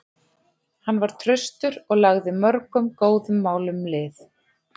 Hann var traustur og lagði mörgum góðum málum lið.